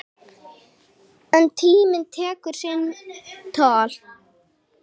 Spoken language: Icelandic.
En tíminn tekur sinn toll.